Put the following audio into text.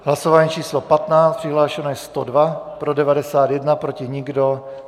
Hlasování číslo 15, přihlášeno je 102, pro 91, proti nikdo.